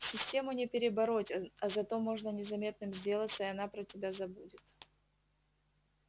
систему не перебороть а зато можно незаметным сделаться и она про тебя забудет